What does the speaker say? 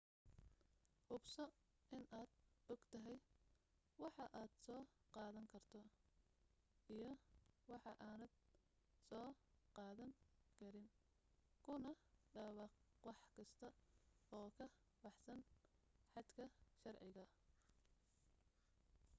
hubso inaad ogtahay waxa aad soo qaadan karto iyo waxa aadan soo qaadan karin kuna dhawaaqwax kasta oo ka baxsan xadka sharciga